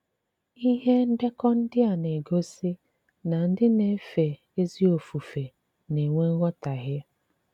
Ìhé ndekọ̀ ndị a na-egosí na ndị na-èfé ezi ofufe na-enwè nghọtàhìe.